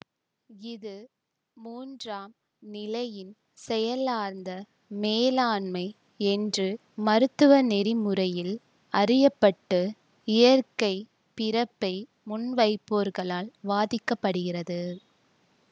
இது மூன்றாம் நிலையின் செயலார்ந்த மேலாண்மை என்று மருத்துவ நெறிமுறையில் அறிய பட்டு இயற்கை பிறப்பை முன்வைப்போர்களால் வாதிக்கப்படுகிறது